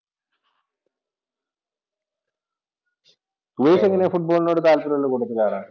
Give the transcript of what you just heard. ഉപേഷ് എങ്ങനെയാ ഫുട്ബോളിനോട് താല്പര്യം ഉള്ള കൂട്ടത്തിലാണോ?